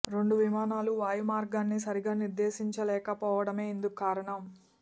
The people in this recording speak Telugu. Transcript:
రెండు విమానాలు వాయు మర్గాన్ని సరిగా నిర్దేశించలేక పోవడమే ఇందుకు కారణం